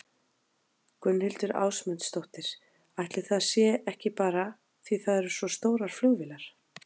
Gunnhildur Ásmundsdóttir: Ætli það sé ekki bara því það eru svo stórar flugvélar?